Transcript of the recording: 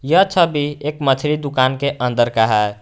यह छवि एक मछली दुकान के अंदर का है।